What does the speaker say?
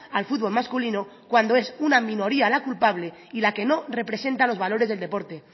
al fútbol masculino cuando es una minoría la culpable y la que no representa los valores del deporte